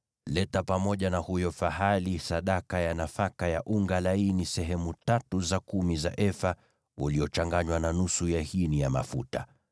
leta pamoja na huyo fahali sadaka ya nafaka ya unga laini sehemu tatu za kumi za efa uliochanganywa na nusu ya hini ya mafuta.